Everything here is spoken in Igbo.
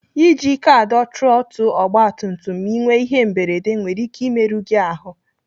Iji ike adọ trọtụl ọgbatumtum ma Ị nwee ihe mberede nwere ike imerụ gị ahụ.